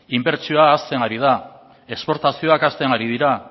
inbertsioa hasten ari da esportazioak hasten ari dira